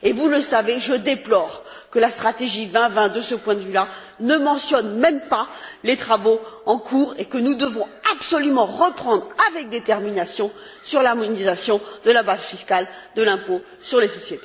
Vous le savez, je déplore que la stratégie 2020, de ce point de vue, ne mentionne même pas les travaux en cours, que nous devons absolument reprendre avec détermination, sur l'harmonisation de la base fiscale de l'impôt sur les sociétés.